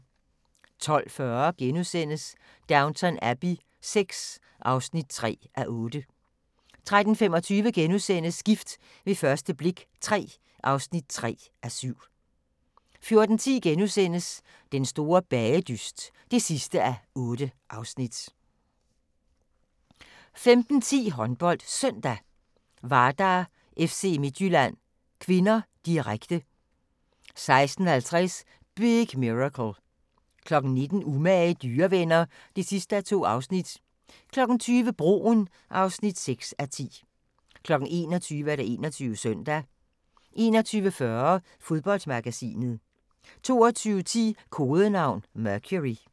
12:40: Downton Abbey VI (3:8)* 13:25: Gift ved første blik III (3:7)* 14:10: Den store bagedyst (8:8)* 15:10: HåndboldSøndag: Vardar-FC Midtjylland (k), direkte 16:50: Big Miracle 19:00: Umage dyrevenner (2:2) 20:00: Broen (6:10) 21:00: 21 Søndag 21:40: Fodboldmagasinet 22:10: Kodenavn: Mercury